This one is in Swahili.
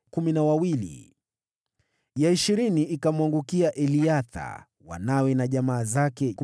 ya ishirini ikamwangukia Eliatha, wanawe na jamaa zake, 12